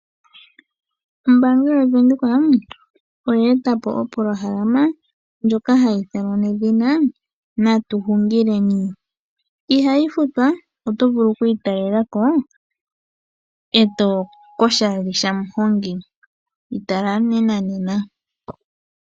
Ombaanga yavenduka oyeetapo opolohalama, ndjoka hayi ithanwa nedhina natuhungileni. Ihayi futwa, oto vulu okwiitalelako koshali shamuhongi. Yitala nena koshali shamuhongi